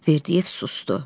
Verdiyev susdu.